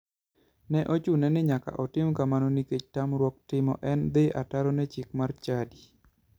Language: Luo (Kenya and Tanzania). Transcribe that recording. Ne ochune ni nyaka otim kamano nikech tamruok timo en dhi ataro ne chik mar chadi.